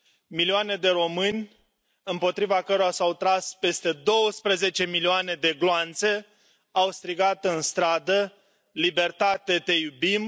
milioane de români împotriva cărora s au tras peste 12 milioane de gloanțe au strigat în stradă Libertate, te iubim!